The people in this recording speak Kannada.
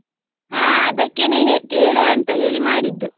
ಹ ಅದಕ್ಕೇನೆ ಹೇ~ ಕೇಳುವ ಅಂತ ಹೇಳಿ ಮಾಡಿದ್ದು.